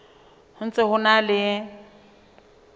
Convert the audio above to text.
ho ntse ho na le